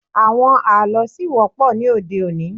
Àwọn àlọ́ ṣì wọ́pọ̀ ní òde-òní.